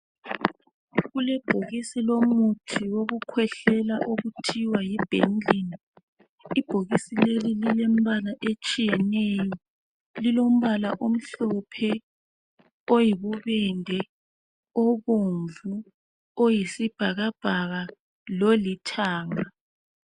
Kukebhokisi elomuthi wokukhwehlela okuthiwa yiBenylin. Ibhokisi leli lilemibala etshiyeneyo. Lilomibala omhlophe, oyibubende, obomvu, oyisibhakabhaka lolithanga.